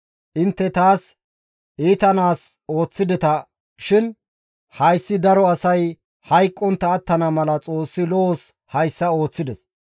Intte taas iitanaas ooththideta shin hayssi daro asay hayqqontta attana mala Xoossi lo7os hayssa ooththides.